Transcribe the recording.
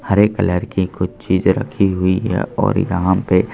हरे colour की कुछ चीज रखी हुई है और यहां पे--